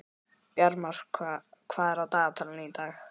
Bjarmar, hvað er á dagatalinu í dag?